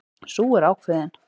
Sú er ákveðin!